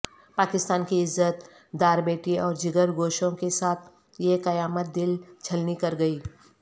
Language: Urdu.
پاکستان کی عزت دار بیٹی اورجگر گوشوں کے ساتھ یہ قیامت دل چھلنی کرگئی